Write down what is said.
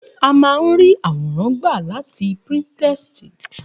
A má a ń ríí àwòrán gbà láti Píńtírẹ́sì